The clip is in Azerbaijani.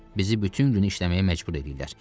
Bizi bütün günü işləməyə məcbur eləyirlər.